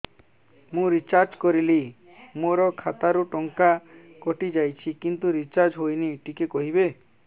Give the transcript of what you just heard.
ମୁ ରିଚାର୍ଜ କରିଲି ମୋର ଖାତା ରୁ ଟଙ୍କା କଟି ଯାଇଛି କିନ୍ତୁ ରିଚାର୍ଜ ହେଇନି ଟିକେ କହିବେ